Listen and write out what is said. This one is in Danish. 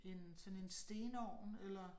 En sådan en stenovn eller